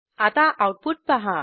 आता आऊटपुट पहा